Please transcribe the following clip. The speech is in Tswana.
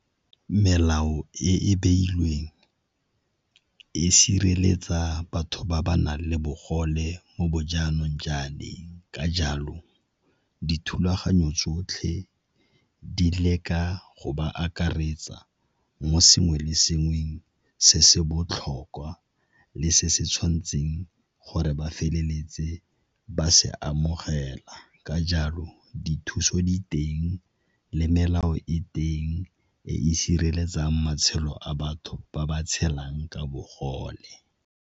Melao e e beilweng e sireletsa batho ba ba nang le bogole mo bo jaanong , ka jalo dithulaganyo tsotlhe di leka go ba akaretsa mo sengwe le sengwe se se botlhokwa le se se tshwanetseng gore ba feleletse ba se amogela. Ka jalo dithuso diteng le melao e teng e e sireletsang matshelo a batho ba ba tshelang ka bogole.